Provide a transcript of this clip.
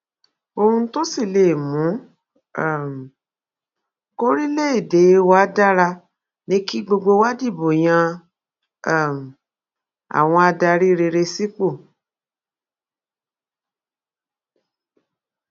ohun tó sì lè mú um kòrílégédé wa dára ni kí gbogbo wa dìbò yan um àwọn adarí rere sípò